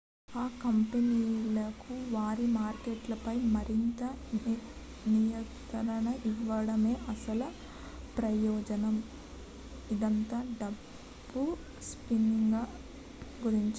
ఆ కంపెనీలకు వారి మార్కెట్లపై మరింత నియంత్రణ ఇవ్వడమే అసలు ప్రయోజనం ఇదంతా డబ్బు స్పిన్నింగ్ గురించే